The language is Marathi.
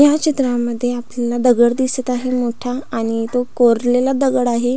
या चित्रामध्ये आपल्याला दगड दिसत आहे मोठा आणि तो कोरलेला दगड आहे.